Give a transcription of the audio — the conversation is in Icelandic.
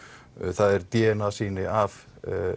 það er d n a sýni af